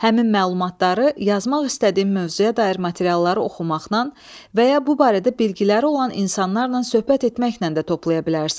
Həmin məlumatları yazmaq istədiyim mövzuya dair materialları oxumaqla və ya bu barədə bilikləri olan insanlarla söhbət etməklə də toplaya bilərsən.